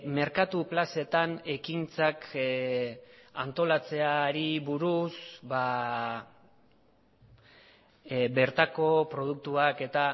merkatu plazetan ekintzak antolatzeari buruz bertako produktuak eta